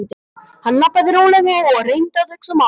Hann labbaði rólega og reyndi að hugsa málið.